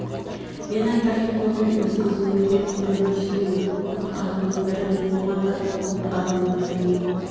мен айтардың көбін өзің көзіңмен де көріп өсіп ең көп қатынның бір мен болғанда сол көп қатынның бірнен